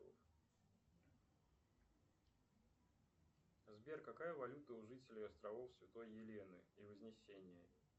сбер какая валюта у жителей островов святой елены и вознесения